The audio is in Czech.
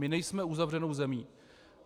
My nejsme uzavřenou zemí.